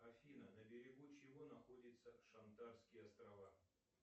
афина на берегу чего находятся шантарские острова